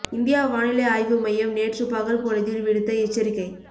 இந்திய வானிலை ஆய்வு மையம் நேற்று பகல் பொழுதில் விடுத்த எச்சரிக்கை